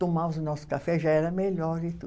Tomávamos o nosso café já era melhor e tudo.